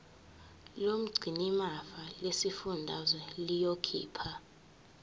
lomgcinimafa lesifundazwe liyokhipha